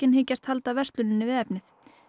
hyggjast halda versluninni við efnið